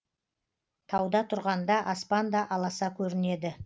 тауда тұрғанда аспан да аласа көрінеді